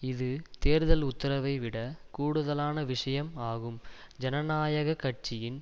இது தேர்தல் உத்தரைவிடைக் கூடுதலான விஷயம் ஆகும் ஜனநாயக கட்சியின்